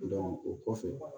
o kɔfɛ